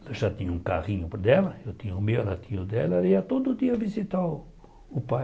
Ela já tinha o carrinho dela, eu tinha o meu, ela tinha o dela, ela ia todo dia visitar o o pai.